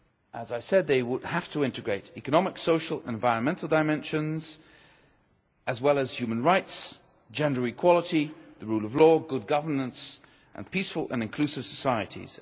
As I said, they would have to integrate economic, social and environmental dimensions, as well as human rights, gender equality, the rule of law, good governance and peaceful and inclusive societies.